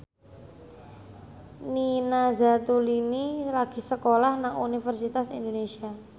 Nina Zatulini lagi sekolah nang Universitas Indonesia